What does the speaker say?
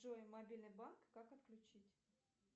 джой мобильный банк как отключить